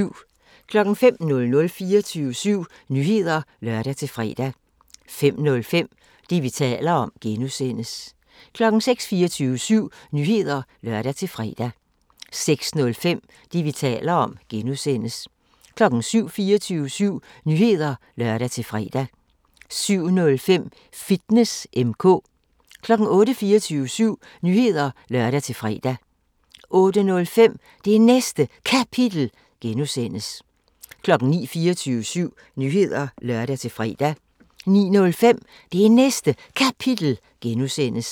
05:00: 24syv Nyheder (lør-fre) 05:05: Det, vi taler om (G) 06:00: 24syv Nyheder (lør-fre) 06:05: Det, vi taler om (G) 07:00: 24syv Nyheder (lør-fre) 07:05: Fitness M/K 08:00: 24syv Nyheder (lør-fre) 08:05: Det Næste Kapitel (G) 09:00: 24syv Nyheder (lør-fre) 09:05: Det Næste Kapitel (G)